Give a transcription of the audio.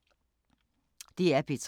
DR P3